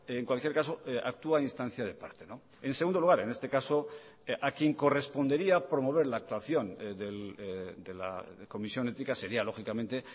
en cualquier caso actúa a instancia de parte en segundo lugar en este caso a quien correspondería promover la actuación de la comisión ética sería lógicamente